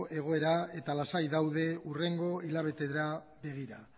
egoera eta lasai daude hurrengo hilabeteetara begira